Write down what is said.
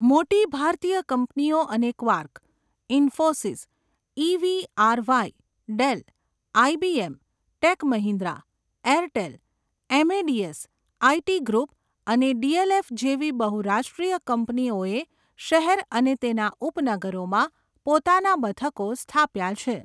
મોટી ભારતીય કંપનીઓ અને Quark, Infosys, EVRY., Dell, IBM., tech Mahindra, Airtel, Amadeus IT. Group અને ડી.એલ.એફ. જેવી બહુરાષ્ટ્રીય કંપનીઓએ શહેર અને તેના ઉપનગરોમાં પોતાના મથકો સ્થાપ્યા છે.